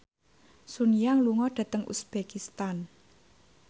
Sun Yang lunga dhateng uzbekistan